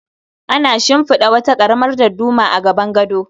Ana shimfida wata karamar dadduma a gaban gado